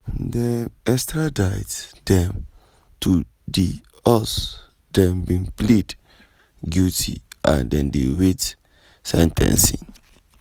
dem extradite dem to di us dem bin plead guilty and dey wait sen ten cing.